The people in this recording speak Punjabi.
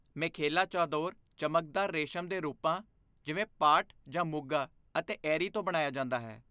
ਮੇਖੇਲਾ ਚਾਦੋਰ ਚਮਕਦਾਰ ਰੇਸ਼ਮ ਦੇ ਰੂਪਾਂ ਜਿਵੇਂ ਪਾਟ ਜਾਂ ਮੁਗਾ ਅਤੇ ਏਰੀ ਤੋਂ ਬਣਾਇਆ ਜਾਂਦਾ ਹੈ